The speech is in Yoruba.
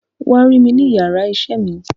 Wa rí mi ni iyàrá iṣẹ mi.